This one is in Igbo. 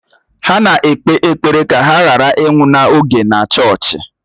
Ha na-ekpe ekpere ka ha ghara ịnwụ n'oge na chọọchị.